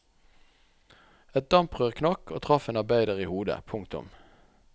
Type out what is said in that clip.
Et damprør knakk og traff en arbeider i hodet. punktum